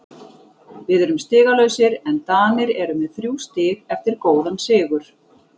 Við erum stigalausir en Danir eru með þrjú stig eftir góðan sigur.